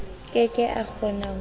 ke ke a kgona ho